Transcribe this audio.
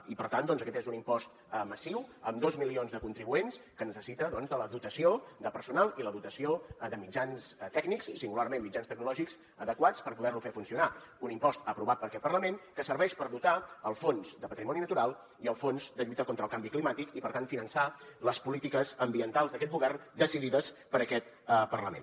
i per tant doncs aquest és un impost massiu amb dos milions de contribuents que necessita la dotació de personal i la dotació de mitjans tècnics singularment mitjans tecnològics adequats per poder lo fer funcionar un impost aprovat per aquest parlament que serveix per dotar el fons de patrimoni natural i el fons de lluita contra el canvi climàtic i per tant finançar les polítiques ambientals d’aquest govern decidides per aquest parlament